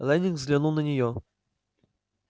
лэннинг взглянул на нее